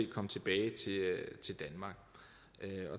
komme tilbage til danmark